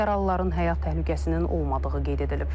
Yaralıların həyat təhlükəsinin olmadığı qeyd edilib.